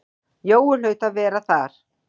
Jói hlaut að vera þar.